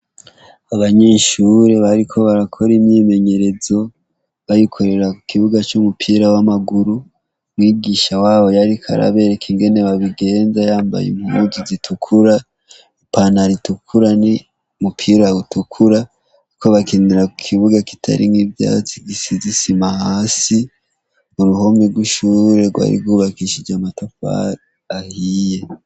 Abanyeshure bariko barakora imyimenyerezo barikorera ku kibuga co mupira w'amaguru mwigisha wabo yariko arabereka ingene babigenza yambaye imuuzu zitukura ipana ritukura ni mupira utukura, kuko bakinira ku kibuga kitarink'ivyatsi gisizisimaa asi uruhomi rw'ushure rwarigubakishije matakwari ahiye.